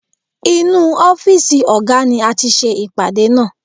Inú ọ́fìsì ọ̀gá ni a ti ṣe ìpàdé náà